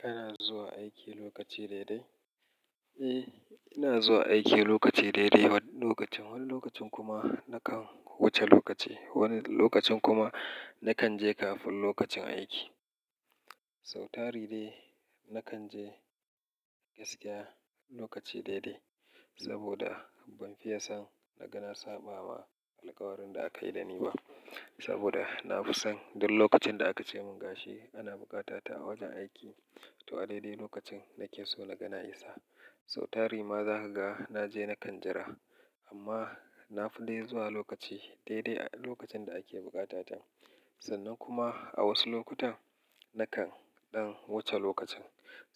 Kana zuwa aiki lokaci daidai? Eh, ina zuwa aiki lokaci daidai wani lokacin. Wani lokacin kuma nakan wuce lokaci. Wani lokacin kuma nakan je kafin lokacin aiki. Sau tari dai nakan je gaskiya lokaci daidai saboda ban fiye son na gana saɓa ma alkawarin da aka yi da ni ba. Saboda na fi son duk lokacin da aka ce mun gashi ana bukata ta a wajen aiki. To a daidai lokacin nake so na gana isa. Sau tari ma za ka ga na je na kan jira. Amma na fi dai zuwa lokaci daidai lokacin da ake bukata ta. Sannan kuma a wasu lokutan nakan ɗan wuce lokacin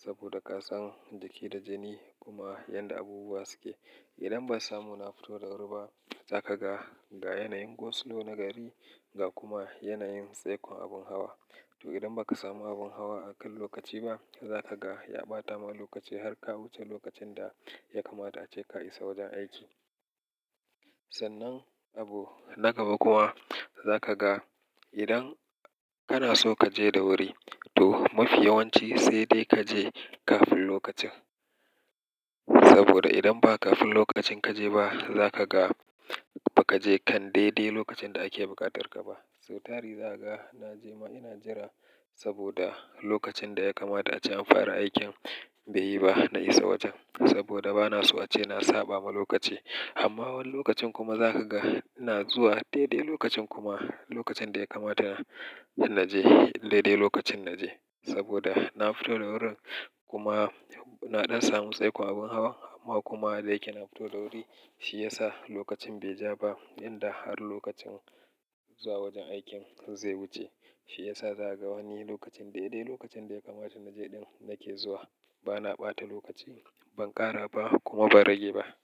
saboda ka san jiki da jini kuma yadda abubuwa suke. Idan ban samu na fito da wuri ba, za ka ga ga yanayin go-slow na gari, ga kuma yanayin tsaikon abun hawa. To idan ba ka samu abun hawa a kan lokaci ba, za ka ga ya ɓata ma lokaci har ka wuce lokacin da ya kamata ace ka isa wajen aiki. Sannan abu na gaba kuma za ka ga idan kana so ka je da wuri to mafi yawanci sai dai ka je kafin lokacin. Saboda idan ba kafin lokacin ka je ba, za ka ga ba ka je kan daidai lokacin da ake buƙatar ka ba. Sau tari. Za ka ga na je ma ina jira saboda lokacin da ya kamata ace an fara aikin bai yi ba, na isa wajen saboda ba na so ace na saɓa ma lokaci. Amma wani lokacin kuma za ka ga ina zuwa daidai lokacin kuma lokacin da ya kamata na je daidai lokacin na je saboda na fito da wurin kuma na ɗan samu tsaikon abun hawan amma kuma da yake na fito da wuri shi ya sa lokacin bai ja ba inda har lokacin zuwa wajen aikin zai wuce. Shi ya sa za ka ga wani lokacin daidai lokacin da ya kamata na je ɗin nake zuwa. Ba na ɓata lokaci, ban ƙara ba kuma ba rage ba.